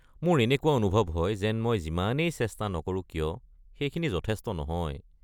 মোৰ এনেকুৱা অনুভৱ হয় যেন মই যিমানেই চেষ্টা নকৰো কিয়, সেইখিনি যথেষ্ট নহয়।